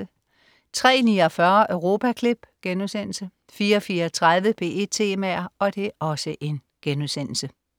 03.49 Europaklip* 04.34 P1 Temaer*